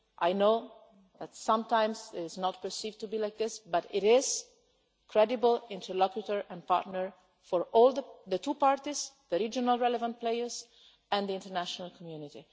I know that sometimes it is not perceived like this, but it is a credible interlocutor and partner for the two parties, the regional relevant players and the international community.